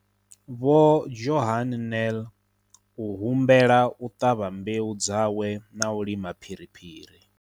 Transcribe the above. Vho Johan Nel u humbela u ṱavha mbeu dzawe na u lima phiriphiri.